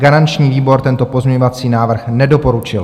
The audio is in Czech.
Garanční výbor tento pozměňovací návrh nedoporučil.